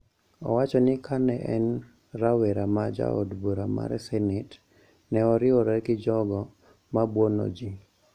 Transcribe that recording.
Owacho ni ka ne en rawera ma jaod bura mar senet, ne oriwore gi jogo ma buono ji